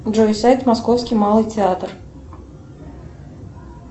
джой сайт московский малый театр